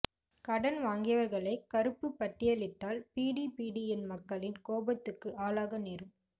கடன் வாங்கியவர்களைக் கருப்புப் பட்டியலிட்டால் பிடிபிடிஎன் மக்களின் கோபத்துக்கு ஆளாக நேரும்